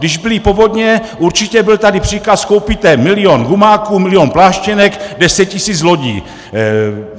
Když byly povodně, určitě byl tady příkaz: koupíte milion gumáků, milion pláštěnek, 10 tisíc lodí.